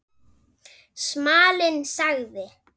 Smalinn sagði